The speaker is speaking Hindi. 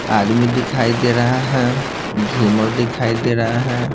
आदमी दिखाई दे रहा है झूमर दिखाई दे रहा है।